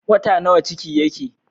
Wata nawa ciki yake?